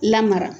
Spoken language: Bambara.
Lamara